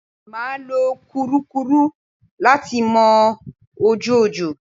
Mà á lo kùrukùru láti mọ ojú ọjọ́.